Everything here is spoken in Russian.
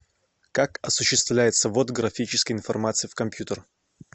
как осуществляется ввод графической информации в компьютер